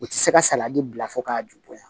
U tɛ se ka salati bila fo k'a ju bɔɲɔn